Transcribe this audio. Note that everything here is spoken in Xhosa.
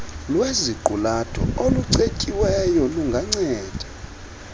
lweziqulatho olucetyiweyo lunganceda